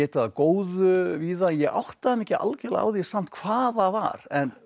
af góðu víða en ég áttaði mig ekki algjörlega á því samt hvað það var en